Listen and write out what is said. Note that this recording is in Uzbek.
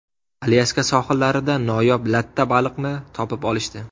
Alyaska sohillarida noyob latta baliqni topib olishdi .